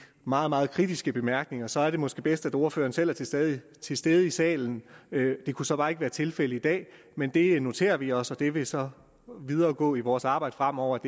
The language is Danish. meget meget kritiske bemærkninger så er det måske bedst at ordføreren selv er til stede til stede i salen det kunne så bare ikke være tilfældet i dag men det noterer vi os og det vil så indgå i vores arbejde fremover